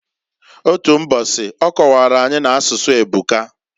Otu mbosi, ọ kọwara anyi, n'asụsụ ebuka.